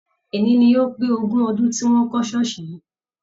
Eni ni ó pé ogún ọdún tí wọn kọ ṣooṣi yìí.